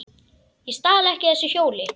Ég stal ekki þessu hjóli!